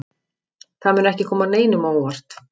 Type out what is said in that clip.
Það mun ekki koma neinum á óvart.